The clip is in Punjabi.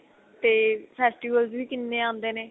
ਤੇ festivals ਵੀ ਕਿੰਨੇ ਆਂਦੇ ਨੇ